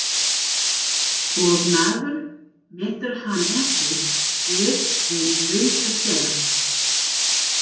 Og maður metur hann ekki fyrr en löngu seinna.